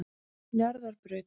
Njarðarbraut